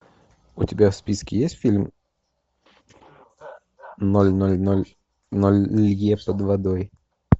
у тебя в списке есть фильм ноль ноль ноль ноль лье под водой